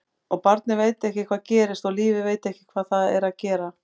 Og barnið veit ekki hvað gerist og lífið veit ekki hvað það er að gera.